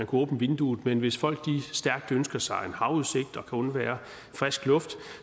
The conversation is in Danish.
kunne åbne vinduerne men hvis folk stærkt ønsker sig en havudsigt og kan undvære frisk luft